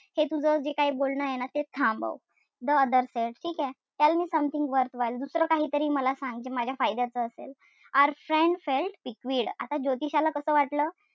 हे तुझं जे काय बोलणंय ना ते थांबव. The other said ठीकेय? Tell me something worthwhile दुसरं काहीतरी मला सांग जे माझ्या फायद्याचं असेल. Our friend felt piqued आता ज्योतिषाला कस वाटलं?